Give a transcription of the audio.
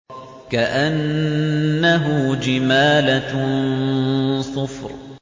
كَأَنَّهُ جِمَالَتٌ صُفْرٌ